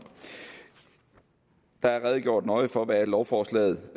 der er redegjort nøje for hvad lovforslaget